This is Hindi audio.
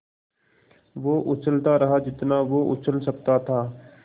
वो उछलता रहा जितना वो उछल सकता था